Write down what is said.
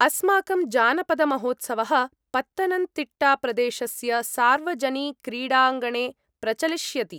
अस्माकं जानपदमहोत्सवः पत्तनन्तिट्टाप्रदेशस्य सार्वजनिक्रीडाङ्गणे प्रचलिष्यति।